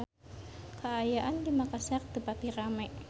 Kaayaan di Makassar teu pati rame